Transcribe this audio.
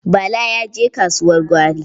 Bala ya je kasuwar gwari.